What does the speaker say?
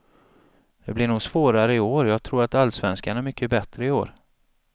Det blir nog svårare i år, jag tror att allsvenskan är mycket bättre i år.